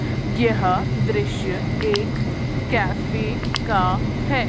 यह दृश्य एक कैफे का है।